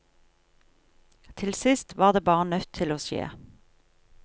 Til sist var det bare nødt til å skje.